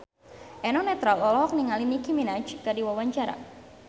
Eno Netral olohok ningali Nicky Minaj keur diwawancara